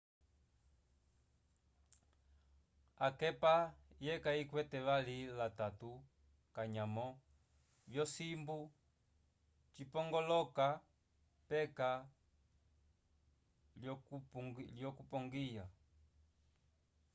akepa yeka yikwete vali la tatu kanyamo vyo simbu cipongoloka peka ko lyo kupongiya